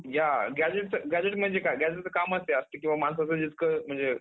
काय वाटतं तुला? शेतीवर काय effect होतं असणार मग.